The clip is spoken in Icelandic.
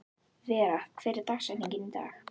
Vera, hver er dagsetningin í dag?